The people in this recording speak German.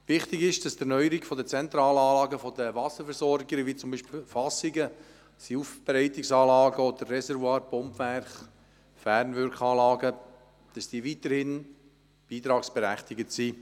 Wichtig ist, dass die Erneuerung von zentralen Anlagen der Wasserversorger, wie zum Beispiel Fassungen, Aufbereitungsanlagen oder Reservoirs, Pumpwerke und Fernwirkungsanlagen, weiterhin beitragsberechtigt sind.